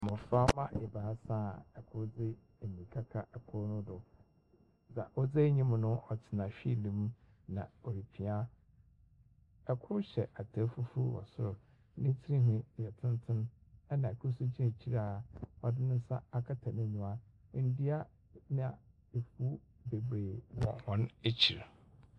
Mmɔframma ebaasa a kor de mmirika ka kor no do. Dze a ɔdzi anim no tsena wheel mu na ɔrepia. Kor hyɛ atar fufuo wɔ sor. Ne tsirnhwi yɛ tsentsen, ɛnna kor nso gyina ekyir a ɔde ne nsa akata n'enyiwa. Ndua ne efuw bebree wɔ hɔn ekyir.